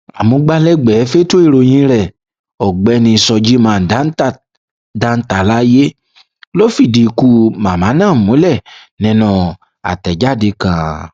amúgbálẹgbẹẹ fẹtọ ìròyìn rẹ ọgbẹni shojiman dantalaye ló fìdí ikú màmá ná múlẹ nínú àtẹjáde kan